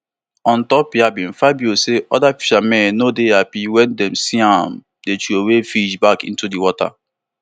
ontop yabbing fabio say oda fishermen no dey happy wen dem see am dey throway fish back into di water